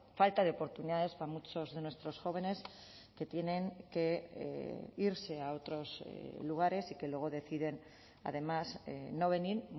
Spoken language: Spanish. falta de oportunidades para muchos de nuestros jóvenes que tienen que irse a otros lugares y que luego deciden además no venir